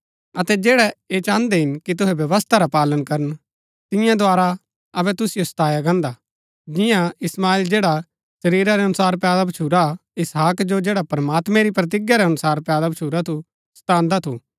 अतै जैड़ै ऐह चाहन्दै हिन कि तुहै व्यवस्था रा पालन करन तिन्या द्धारा अबै तुसिओ सताया गान्दा हा जिन्या इश्माईल जैड़ा शरीरा रै अनुसार पैदा भच्छुरा इसहाक जो जैड़ा प्रमात्मैं री प्रतिज्ञा रै अनुसार पैदा भच्छुरा थू सतांदा थू